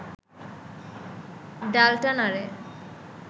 ডালটা নাড়ে